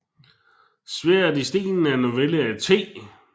Sværdet i stenen er en novelle af T